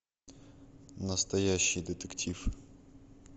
настоящий детектив